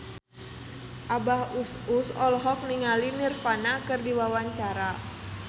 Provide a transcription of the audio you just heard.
Abah Us Us olohok ningali Nirvana keur diwawancara